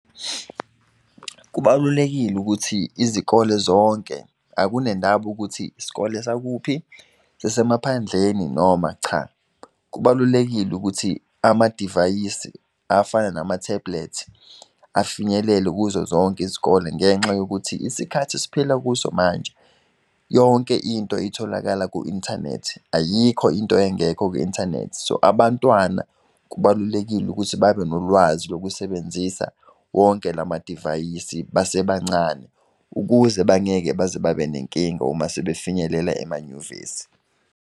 Kubalulekile ukuthi izikole zonke, akunendaba ukuthi isikole sakuphi sasemaphandleni noma cha. Kubalulekile ukuthi amadivayisi afana nama-tablets, afinyelele kuzo zonke izikole, ngenxa yokuthi isikhathi esiphila kuso manje, yonke into itholakala ku-inthanethi, ayikho into engekho kwi-inthanethi. So, abantwana kubalulekile ukuthi babe nolwazi lokusebenzisa wonke lamadivayisi basebancane. Ukuze bangeke baze babenenkinga umase sebafinyelela emanyuvesi.